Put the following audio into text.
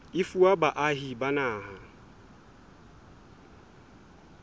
e fuwa baahi ba naha